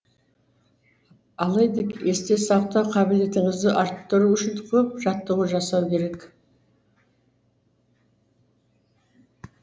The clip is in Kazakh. алайда есте сақтау қабілетіңізді арттыру үшін көп жаттығу жасау керек